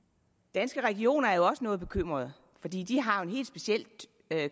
danske regioner er jo også noget bekymrede fordi de har et helt specielt